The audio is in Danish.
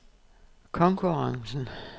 konkurrencen